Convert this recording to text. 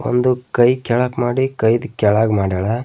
ಒಂದು ಕೈ ಕೆಳಕ್ ಮಾಡಿ ಕೈದ್ ಕೆಳಾಗ್ ಮಾಡ್ಯಾಳ.